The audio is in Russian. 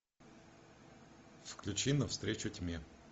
включи навстречу тьме